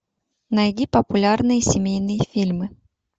найди популярные семейные фильмы